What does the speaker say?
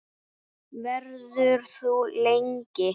Verður þú lengi?